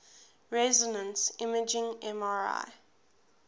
resonance imaging mri